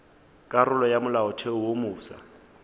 karolo ya molaotheo wo mofsa